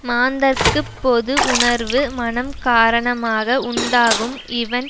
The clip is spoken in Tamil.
மாந்தர்க்குப் பொது உணர்வு மனம் காரணமாக உண்டாகும் இவன்